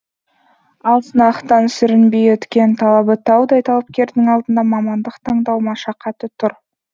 ал сынақтан сүрінбей өткен талабы таудай талапкердің алдында мамандық таңдау машақаты тұр